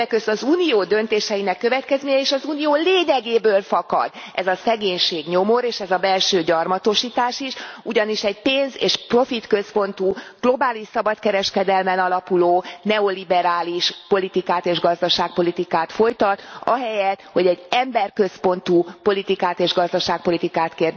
Többek között az Unió döntéseinek következményei, és az Unió lényegéből fakad ez a szegénység, nyomor, és ez a belső gyarmatosítás is. Ugyanis egy pénz és profitközpontú, globális szabadkereskedelmen alapuló neoliberális politikát és gazdaságpolitikát folytat, ahelyett, hogy egy emberközpontú politikát és gazdaságpolitikát